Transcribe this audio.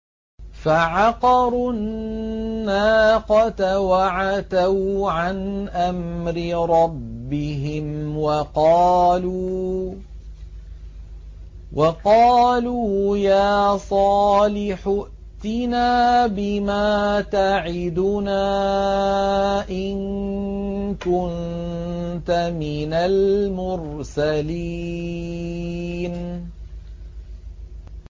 فَعَقَرُوا النَّاقَةَ وَعَتَوْا عَنْ أَمْرِ رَبِّهِمْ وَقَالُوا يَا صَالِحُ ائْتِنَا بِمَا تَعِدُنَا إِن كُنتَ مِنَ الْمُرْسَلِينَ